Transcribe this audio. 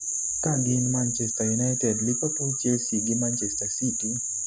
ka gin Manchester United, Liverpool, Chelsea gi Manchester City